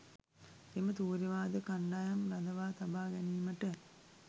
එම තූර්ය වාදක කණ්ඩායම් රඳවා තබා ගැනීමට